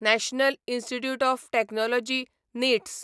national institutes of technology NITs